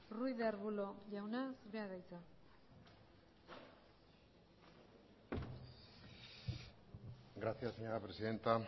ruiz de arbulo jauna zurea da hitza gracias señora presidenta